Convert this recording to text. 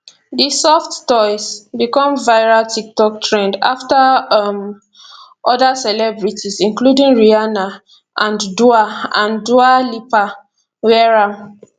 di soft toys becomeviral tiktok trendafter um oda celebrities including rihanna and dua and dua lipa wear am